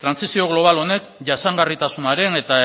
trantsizio global honek jasangarritasunaren eta